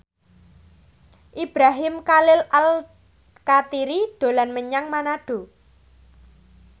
Ibrahim Khalil Alkatiri dolan menyang Manado